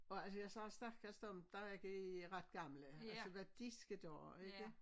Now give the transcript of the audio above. Og altså sagde stakkels dem der er ikke ret gamle altså hvad de skal gøre ikke